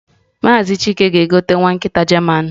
Maazị chilke gaa gote nwa Nkita german.